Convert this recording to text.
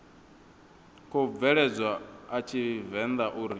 khou bveledzwa a tshivenḓa uri